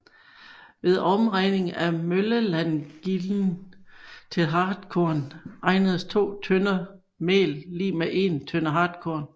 Ved omregning af møllelandgilden til hartkorn regnedes 2 tønder mel lig 1 tønde hartkorn